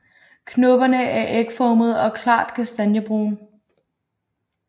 Knopperne er ægformede og klart kastanjebrune